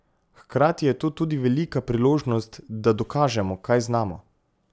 Hkrati je to tudi velika priložnost, da dokažemo, kaj znamo.